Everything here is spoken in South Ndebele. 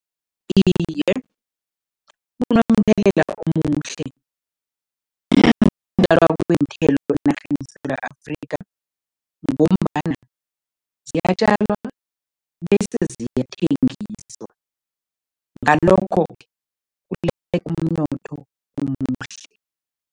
Iye, kunomthelela omuhle ukutjalwa kweenthelo enarheni yeSewula Afrika ngombana ziyatjalwa bese ziyathengiswa, ngalokho-ke kuletha umnotho omuhle.